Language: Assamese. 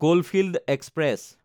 coalfield express